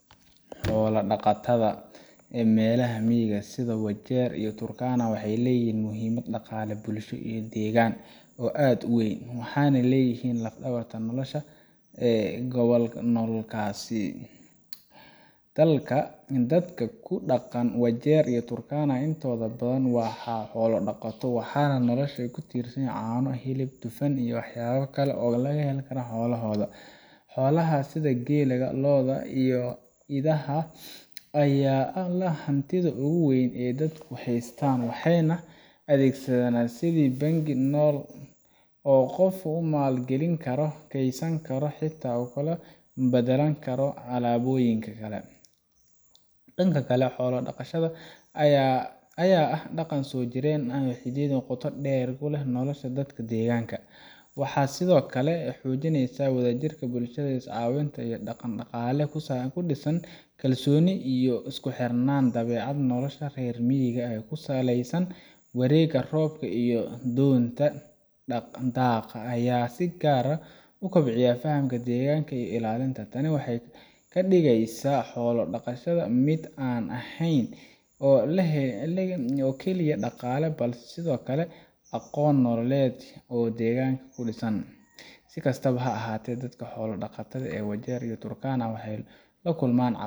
Xoolaha dhaqatada meelaha miyiga ah sida Wajeer iyo Turkana waxay leeyihiin muhiimad dhaqaale, bulsho iyo deegaan oo aad u weyn, waxaana ay yihiin laf-dhabarta nolosha dadka ku nool gobolladaas. Dadka ku dhaqan Wajeer iyo Turkana intooda badan waa xoolo dhaqato, waxana noloshooda ku tiirsan caano, hilib, dufan iyo waxyaabo kale oo ay ka helaan xoolahooda. Xoolahaas sida geela, lo’da iyo idaha ayaa ah hantida ugu weyn ee ay dadku haystaan, waxayna u adeegaan sidii bangi nool oo qofka uu maal geli karo, kaydsan karo, xitaa ku kala baddalan karo alaabooyinka kale. Dhanka kale, xoolo dhaqashada ayaa ah dhaqan soo jireen ah oo xididdo qoto dheer ku leh nolosha dadka deegaanka. Waxa ay sidoo kale xoojinaysaa wadajirka bulshada, iscaawinta, iyo dhaqan-dhaqaale ku dhisan kalsooni iyo isku xirnaan. Dabeecadda nolosha reer miyiga ee ku saleysan wareegga roobka iyo doontada daaqa ayaa si gaar ah u kobcisa fahamka deegaanka iyo ilaalintiisa. Tani waxay ka dhigeysaa xoolo dhaqashada mid aan ahayn oo keliya dhaqaale balse sidoo kale aqoon nololeed oo deegaanka ku dhisan. Si kastaba ha ahaatee, dadka xoolo dhaqatada ah ee Wajeer iyo Turkana waxay la kulmaan